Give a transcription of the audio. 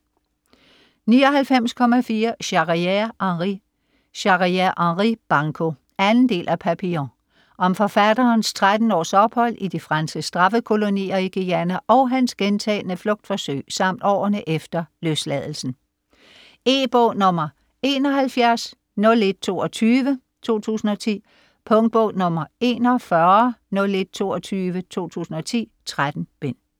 99.4 Charrière, Henri Charrière, Henri: Banco 2. del af Papillon. Om forfatterens 13 års ophold i de franske straffekolonier i Guayana og hans gentagne flugtforsøg samt om årene efter løsladelsen. E-bog 710122 2010. Punktbog 410122 2010. 13 bind.